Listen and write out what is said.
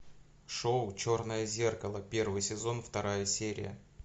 шоу черное зеркало первый сезон вторая серия